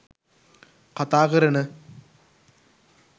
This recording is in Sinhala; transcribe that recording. කතා කරන